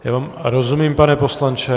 Já vám rozumím, pane poslanče.